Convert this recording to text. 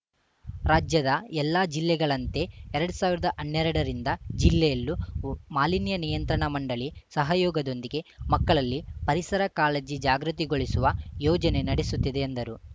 ರಾಜ್ಯದ ಎಲ್ಲಾ ಜಿಲ್ಲೆಗಳಂತೆ ಎರಡ್ ಸಾವಿರದ ಹನ್ನೆರಡರಿಂದ ಜಿಲ್ಲೆಯಲ್ಲೂ ಮಾಲಿನ್ಯನಿಯಂತ್ರಣ ಮಂಡಳಿ ಸಹಯೋಗದೊಂದಿಗೆ ಮಕ್ಕಳಲ್ಲಿ ಪರಿಸರಕಾಳಜಿ ಜಾಗೃತಿಗೊಳಿಸುವ ಯೋಜನೆ ನಡೆಸುತ್ತಿದೆ ಎಂದರು